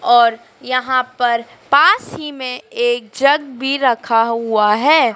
और यहाँ पर पास ही में एक जग भीं रखा हुआ हैं।